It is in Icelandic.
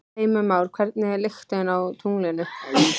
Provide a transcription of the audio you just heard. Heimir Már: Hvernig er lyktin á tunglinu?